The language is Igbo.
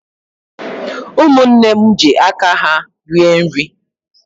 Umunne m ji aka ha rie nri